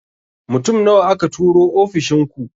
Mutum nawa aka turo ofishin ku?